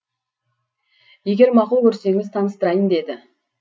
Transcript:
егер мақұл көрсеңіз таныстырайын деді